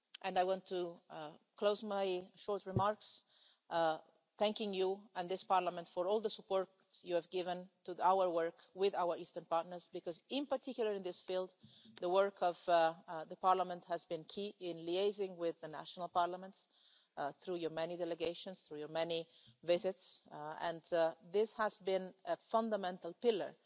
I went to close my short remarks by thanking you and this Parliament for all the support you have given to our work with our Eastern Partners because, in particular in this field, the work of Parliament has been key in liaising with the national parliaments through your many delegations, through your many visits, and this has been a fundamental pillar